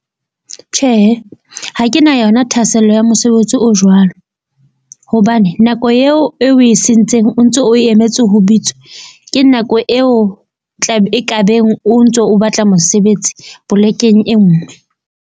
Tjhehe, ha ke na yona thahasello ya mosebetsi o jwalo. Hobane nako eo e o e sentseng, o ntso o emetse ho bitswa, ke nako eo e kabeng o ntso o batla mosebetsi polekeng e nngwe.